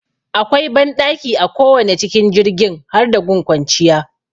Akwai banɗaki a kowane cikin jirgin har da gun kwanciya